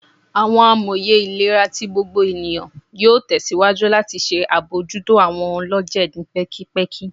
Awọn amoye ilera ti gbogbo eniyan yoo tẹsiwaju lati ṣe abojuto awọn ọlọjẹ ni pẹkipẹki